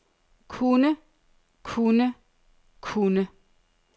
kunne kunne kunne